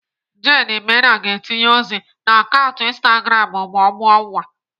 Jane Mena ga-etinye ozi na akaụntụ Instagram ma ọ mụọ nwa.